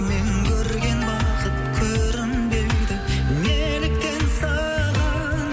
мен көрген бақыт көрінбейді неліктен саған